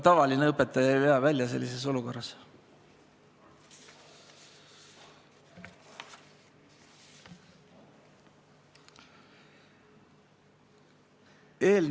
Tavaline õpetaja ei vea sellises olukorras välja.